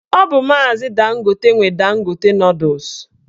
Ọ bụ maazi Dangote nwe Dangote nọdụs